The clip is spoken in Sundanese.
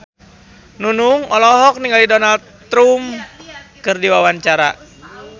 Nunung olohok ningali Donald Trump keur diwawancara